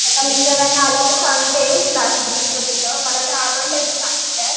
मिस्टरांना आल्यावर सांगते क्लास मला